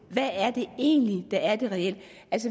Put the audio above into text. hvad er det egentlig der er det reelle